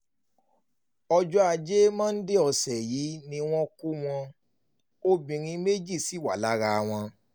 ọjọ́ ajé monde ọ̀sẹ̀ yìí ni wọ́n kó wọn obìnrin méjì sí wà lára wọn